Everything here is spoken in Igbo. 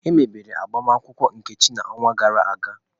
Emebere agbamakwụkwọ Nkechi n'ọnwa gara aga.